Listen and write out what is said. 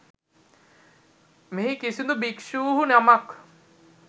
මෙහි කිසිදු භික්ෂූහු නමක්